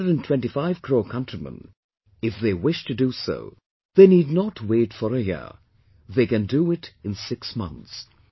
Our 125 crore countrymen, if they wish to do so, they need not wait for a year; they can do it in six months